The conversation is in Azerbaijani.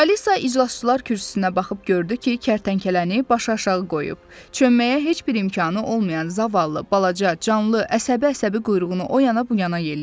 Alisa iclasçılar kürsüsünə baxıb gördü ki, kərtənkələni başıaşağı qoyub, çönməyə heç bir imkanı olmayan zavallı, balaca, canlı əsəbi-əsəbi quyruğunu o yana bu yana yelləyirdi.